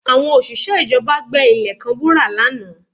Àwọn òṣìṣẹ́ ìjọba gbẹ ilẹ̀ kan wúrà lánàá